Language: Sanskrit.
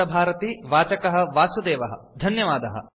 ट्यूटोरियल् इत्यस्मिन् भागं गृहीतवद्भ्यः सर्वेभ्यः धन्यवादः